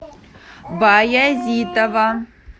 баязитова